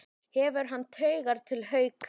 Hefur hann taugar til Hauka?